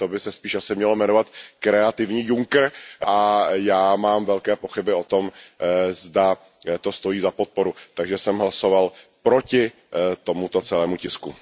To by se spíš mělo jmenovat kreativní Juncker a já mám velké pochyby o tom, zda to stojí za podporu, takže jsem hlasovat proti tomuto celému tisku.